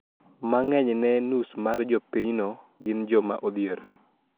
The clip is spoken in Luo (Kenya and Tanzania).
Ma ng`eny ne nus mar jopinyno gin joma odhier